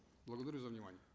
благодарю за внимание